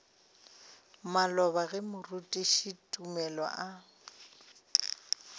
maloba ge moruti tumelo a